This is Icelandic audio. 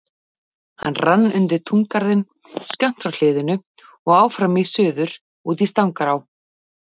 Hann rann undir túngarðinn skammt frá hliðinu og áfram í suður út í Stangará.